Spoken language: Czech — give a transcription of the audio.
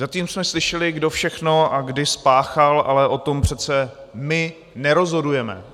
Zatím jsme slyšeli, kdo všechno a kdy spáchal, ale o tom přece my nerozhodujeme.